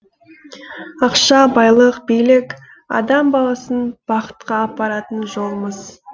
ақша байлық билік адам баласын бақытқа апаратын жол мыс